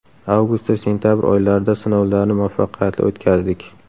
Avgust va sentabr oylarida sinovlarni muvaffaqiyatli o‘tkazdik.